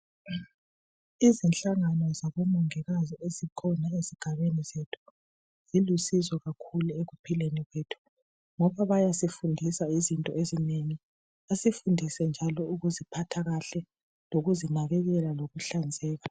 Izinhlangano zabomongikazi ezikhona ezigabeni zethu zilusizo kakhulu ekuphileni kwethu ngoba bayasifundisa izinto ezinengi. Basifundise njalo lokuziphatha kahle lokuzinakekela ngokuhlanzeka.